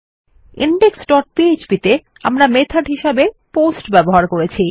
index dot php তে আমরা method হিসাবে পোস্ট ব্যবহার করেছি